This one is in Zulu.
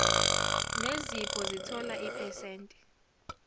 nezipho zithola iphesenti